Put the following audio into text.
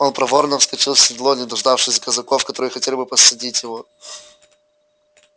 он проворно вскочил в седло не дождавшись казаков которые хотели было подсадить его